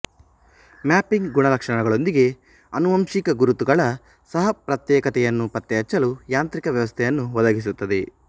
mapping ಗುಣಲಕ್ಷಣಗಳೊಂದಿಗೆ ಆನುವಂಶಿಕ ಗುರುತುಗಳ ಸಹಪ್ರತ್ಯೇಕತೆಯನ್ನು ಪತ್ತೆಹಚ್ಚಲು ಯಾಂತ್ರಿಕ ವ್ಯವಸ್ಥೆಯನ್ನು ಒದಗಿಸುತ್ತದೆ